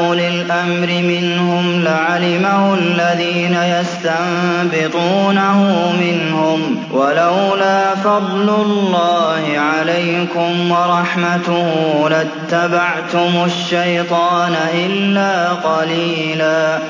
أُولِي الْأَمْرِ مِنْهُمْ لَعَلِمَهُ الَّذِينَ يَسْتَنبِطُونَهُ مِنْهُمْ ۗ وَلَوْلَا فَضْلُ اللَّهِ عَلَيْكُمْ وَرَحْمَتُهُ لَاتَّبَعْتُمُ الشَّيْطَانَ إِلَّا قَلِيلًا